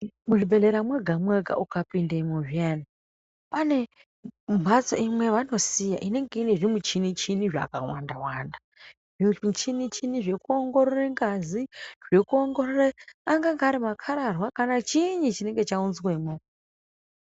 Muzvibhedhlera mwega mwega ukapindemwo zviyani pane mphatso imwe yavanosiya inenge ine zvimuchini-chini zvakawanda-wanda zvimuchini zvekuongorore ngazi zvekuongorore angange ari makhararwa kana chiinyi chinenge chaunzwemwo.